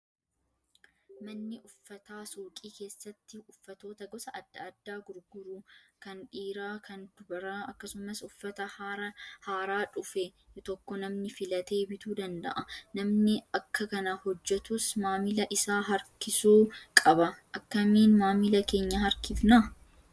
Manni uffataa suuqii keessatti uffatoota gosa adda addaa gurgurru kan dhiiraa kan dubaraa akkasumas uffata haaraa dhufe tokko namni filatee bituu danda'a. Namni bakka kana hojjatus maamila isaa harkisuu qaba. Akkamiin maamila keenya harkifnaa?